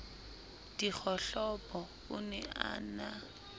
dikgohlopo o ne a na